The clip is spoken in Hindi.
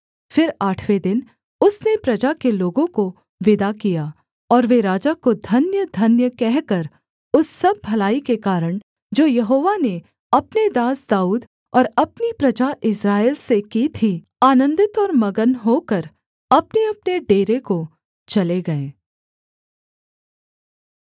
फिर आठवें दिन उसने प्रजा के लोगों को विदा किया और वे राजा को धन्य धन्य कहकर उस सब भलाई के कारण जो यहोवा ने अपने दास दाऊद और अपनी प्रजा इस्राएल से की थी आनन्दित और मगन होकर अपनेअपने डेरे को चले गए